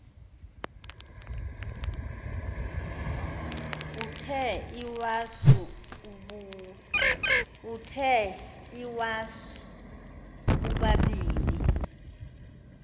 uthe iwasu ubabini